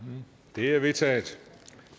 de er vedtaget